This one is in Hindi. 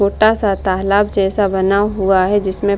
छोटा-सा तालाब जैसा बना हुआ है जिसमे --